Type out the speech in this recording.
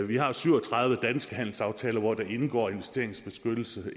vi har syv og tredive danske handelsaftaler hvor der indgår investeringsbeskyttelse